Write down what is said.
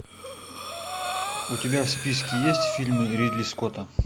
у тебя в списке есть фильмы ридли скотта